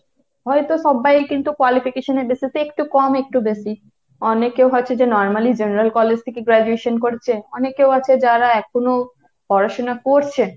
হয়তো সব্বাই কিন্তু qualification এর basis এ যে একটু কম একটু বেশি। অনেকেও আছে যে হয়তো normally general college থেকে graduation করেছে অনেকেও আছে যারা এখনো পড়াশোনা পরছে।